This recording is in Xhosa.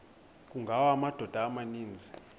kungawa amadoda amaninzi